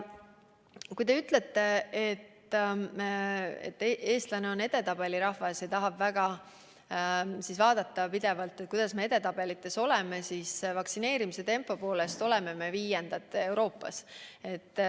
Kui te ütlete, et eestlane on edetabeli usku rahvas ja tahab pidevalt vaadata, kus me edetabelites oleme, siis vaktsineerimise tempo poolest oleme me viiendad Euroopas.